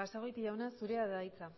basagoiti jauna zurea da hitza